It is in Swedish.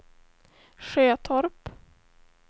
Sjötorp